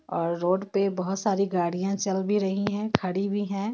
और रोड पे बहुत सारी गाड़ियां चल भी रही है खड़ी भी है.